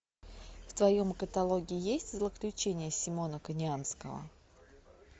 в твоем каталоге есть злоключения симона конианского